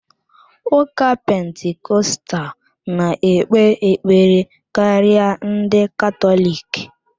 Ụka Pentikọstal na-ekpe ekpere karịa ndị Katọlik.